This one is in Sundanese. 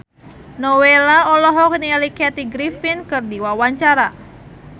Nowela olohok ningali Kathy Griffin keur diwawancara